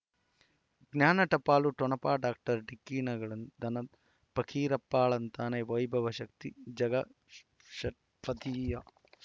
ಜ್ಞಾನ ಟಪಾಲು ಠೊಣಪ ಡಾಕ್ಟರ್ ಢಿಕ್ಕಿ ಣಗಳನು ಧನ ಪಕೀರಪ್ಪ ಳಂತಾನೆ ವೈಭವ ಶಕ್ತಿ ಝಗಾ ಷಟ್ಪದಿಯ